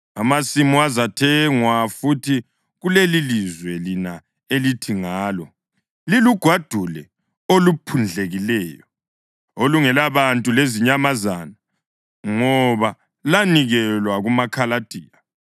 Amasimu azathengwa futhi kulelilizwe lina elithi ngalo, ‘Lilugwadule oluphundlekileyo, olungelabantu lezinyamazana, ngoba lanikelwa kumaKhaladiya.’